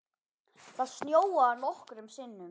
Það snjóaði nokkrum sinnum.